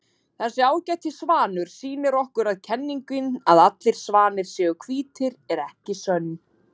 Þessi ágæti svanur sýnir okkur að kenningin að allir svanir séu hvítir er ekki sönn.